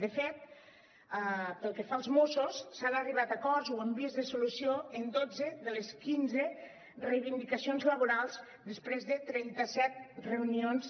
de fet pel que fa als mossos s’ha arribat a acords ho hem vist de solució en dotze de les quinze reivindicacions laborals després de trenta set reunions